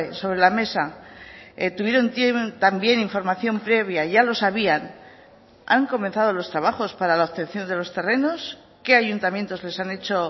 sobre la mesa tuvieron también información previa ya lo sabían han comenzado los trabajos para la obtención de los terrenos qué ayuntamientos les han hecho